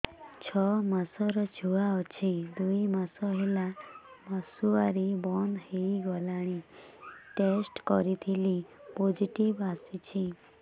ଛଅ ମାସର ଛୁଆ ଅଛି ଦୁଇ ମାସ ହେଲା ମାସୁଆରି ବନ୍ଦ ହେଇଗଲାଣି ଟେଷ୍ଟ କରିଥିଲି ପୋଜିଟିଭ ଆସିଛି